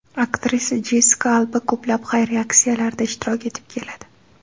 Aktrisa Jessika Alba ko‘plab xayriya aksiyalarida ishtirok etib keladi.